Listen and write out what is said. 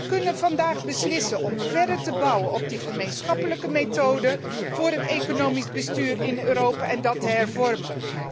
Wij kunnen vandaag beslissen om verder te bouwen op die gemeenschappelijke methode voor het economisch bestuur in Europa en dat te hervormen.